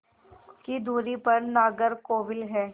की दूरी पर नागरकोविल है